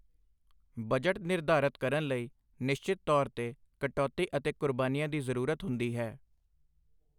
Budget ਨਿਰਧਾਰਤ ਕਰਨ ਲਈ ਨਿਸ਼ਚਿਤ ਤੌਰ ਤੇ ਕਟੌਤੀ ਅਤੇ ਕੁਰਬਾਨੀਆਂ ਦੀ ਜ਼ਰੂਰਤ ਹੁੰਦੀ ਹੈ।